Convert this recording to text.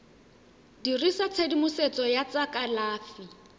dirisa tshedimosetso ya tsa kalafi